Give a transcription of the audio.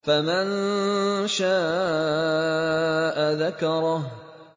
فَمَن شَاءَ ذَكَرَهُ